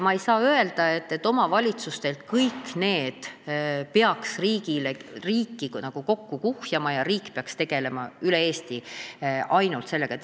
Ma ei saa öelda, et kõik selle peaks riiki nagu kokku kuhjama ja ainult riik peaks üle Eesti sellega tegelema.